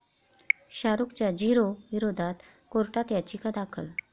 शाहरुखच्या 'zero' विरोधात कोर्टात याचिका दाखल